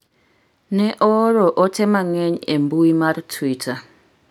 ne ooro ote mang'eny e mbui marTwitter